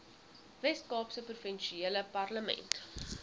weskaapse provinsiale parlement